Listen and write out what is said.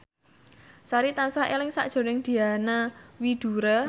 Sari tansah eling sakjroning Diana Widoera